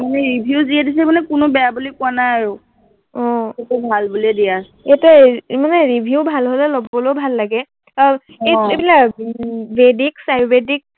মানে review যিয়ে দিছে কোনেও বেয়া বুলি কোৱা নাই আৰু সেইটো ভাল বুলিয়েই দিয়া আছে। এতিয়া এৰ মানে review ভাল হলে মানে লবলৈও ভাল লাগে আৰু এৰ এইবিলাক বৈদিক আয়ুৰ্বদিক